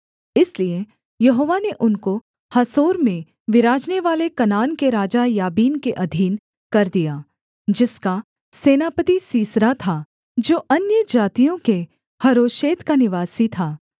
इसलिए यहोवा ने उनको हासोर में विराजनेवाले कनान के राजा याबीन के अधीन कर दिया जिसका सेनापति सीसरा था जो अन्यजातियों के हरोशेत का निवासी था